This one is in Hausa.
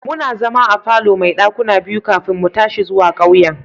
Muna zama a falo mai dakuna biyu kafin mu tashi zuwa ƙauyen.